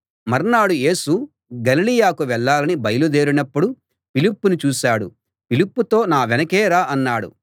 మర్నాడు యేసు గలిలయకు వెళ్ళాలని బయలుదేరినప్పుడు ఫిలిప్పును చూశాడు ఫిలిప్పుతో నా వెనకే రా అన్నాడు